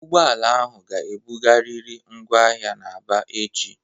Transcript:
Ụgbọala ahụ ga-ebugarịrị ngwa ahịa na Aba echi!